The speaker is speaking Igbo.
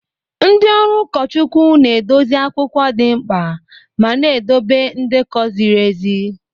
Ndị ọrụ ụkọchukwu na-edozi akwụkwọ dị mkpa ma na-edobe ndekọ ziri ezi.